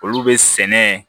Olu bɛ sɛnɛ